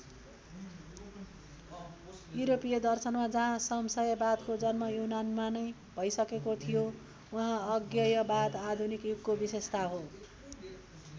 यूरोपीय दर्शनमा जहाँ संशयवादको जन्म यूनानमा नै भइसकेको थियो वहाँ अज्ञेयवाद आधुनिक युगको विशेषता हो।